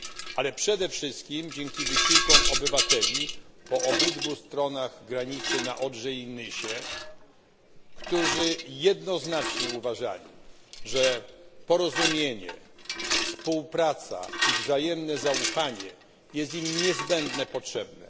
ale przede wszystkim dzięki wysiłkom obywateli po obydwu stronach granicy na Odrze i Nysie, którzy jednoznacznie uważali, że porozumienie, współpraca i wzajemne zaufanie jest im niezbędnie potrzebne.